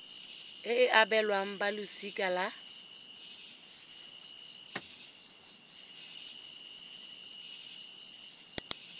e e abelwang balosika la